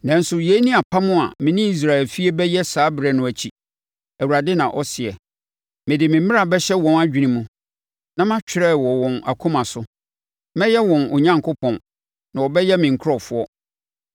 “Nanso yei ne apam a me ne Israel efie bɛyɛ saa ɛberɛ no akyi,” Awurade na ɔseɛ. “Mede me mmara bɛhyɛ wɔn adwene mu, na matwerɛ wɔ wɔn akoma so. Mɛyɛ wɔn Onyankopɔn, na wɔbɛyɛ me nkurɔfoɔ.